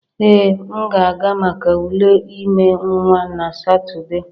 Ee, m ga-aga maka ule ime nwa na Satọde